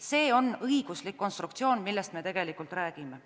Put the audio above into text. See on õiguslik konstruktsioon, millest me tegelikult räägime.